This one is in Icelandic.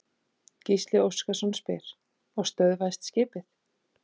Gísli Óskarsson: Og stöðvaðist skipið?